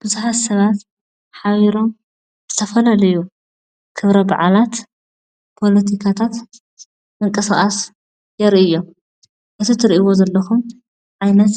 ቡዝሓት ሰባት ሓቢሮም ዝተፈላላዩ ክብረ በዓላት ፖለቲካታት ምንቅስቃስ የርእዩ እዮም ። እዚ ትርእዎ ዘለኹም ዓይነት